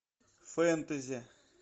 фэнтези